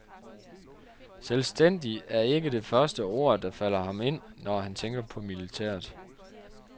Selvstændig er ikke det første ord, der falder ham ind, når han tænker på militæret.